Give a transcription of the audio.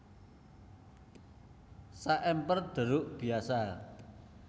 Saèmper Deruk biasa